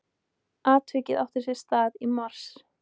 Atvikið átti sér stað í mars